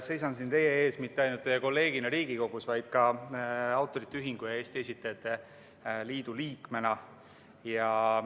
Seisan siin teie ees mitte ainult teie kolleegina Riigikogus, vaid ka Eesti Autorite Ühingu ja Eesti Esitajate Liidu liikmena.